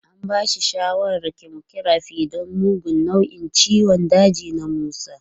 An ba da shawarar chemotherapy don mugun nau'in ciwon daji na Musa.